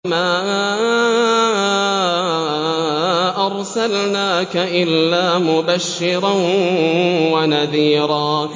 وَمَا أَرْسَلْنَاكَ إِلَّا مُبَشِّرًا وَنَذِيرًا